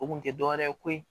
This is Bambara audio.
O kun tɛ dɔwɛrɛ ye koyi